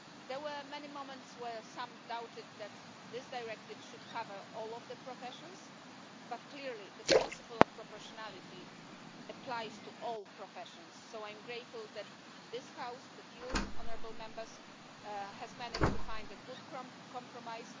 There were many moments where some doubted that this directive should cover all of the professions, but clearly, the principle of proportionality applies to all professions, so I am grateful that this House you, honourable Members has managed to find a good compromise.